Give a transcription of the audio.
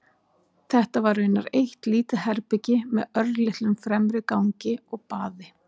Þetta var raunar eitt lítið herbergi með örlitlum fremri gangi og baði.